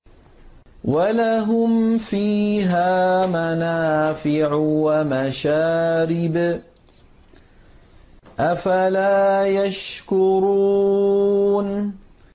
وَلَهُمْ فِيهَا مَنَافِعُ وَمَشَارِبُ ۖ أَفَلَا يَشْكُرُونَ